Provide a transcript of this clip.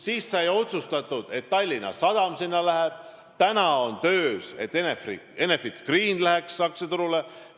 Siis sai otsustatud, et Tallinna Sadam läheb börsile, praegu on töös, et Enefit Green läheks aktsiaturule.